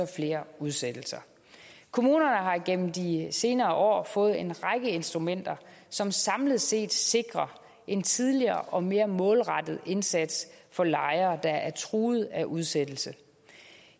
flere udsættelser kommunerne har igennem de senere år fået en række instrumenter som samlet set sikrer en tidligere og mere målrettet indsats for lejere der er truet af udsættelse